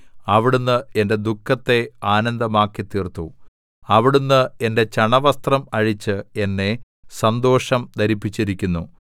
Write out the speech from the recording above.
അവിടുന്ന് എന്റെ ദുഃഖത്തെ ആനന്ദമാക്കിത്തീർത്തു അവിടുന്ന് എന്റെ ചണവസ്ത്രം അഴിച്ച് എന്നെ സന്തോഷം ധരിപ്പിച്ചിരിക്കുന്നു